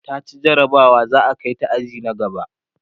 taci jarabawa za'a Kai ta aji na gaba